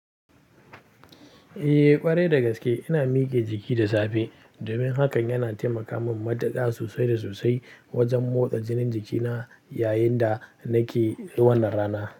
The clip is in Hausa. Eh ƙwarai dagaske ina mike jiki da safe, domin hakan yana taimaka min mataka sosai da sosai wajen motsa jinin jikina yayin da nake wannan rana.